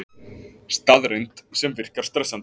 Staðreynd sem virkar stressandi.